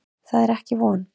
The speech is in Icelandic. Það er ekki von.